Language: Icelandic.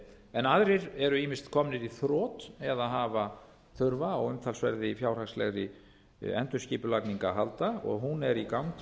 en aðrir eru ýmist komnir í þrot eða hafa þurfa á umtalsverðri fjárhagslegri endurskipulagningu að halda og hún er í gangi